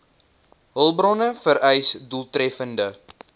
hulpbronne vereis doeltreffende